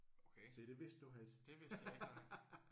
Okay. Det vidste jeg ikke nej